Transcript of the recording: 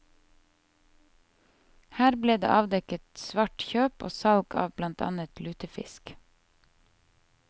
Her ble det avdekket svart kjøp og salg av blant annet lutefisk.